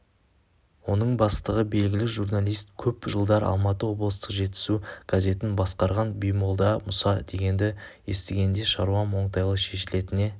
оның бастығы белгілі журналист көп жылдар алматы облыстық жетісу газетін басқарған баймолда мұса дегенді естігенде шаруам оңтайлы шешілетініне